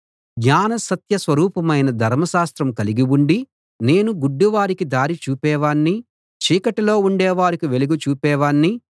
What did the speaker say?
జ్ఞాన సత్య స్వరూపమైన ధర్మశాస్త్రం కలిగిఉండి నేను గుడ్డివారికి దారి చూపేవాణ్ణి చీకటిలో ఉండేవారికి వెలుగు చూపేవాణ్ణి